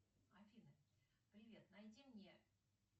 афина привет найди мне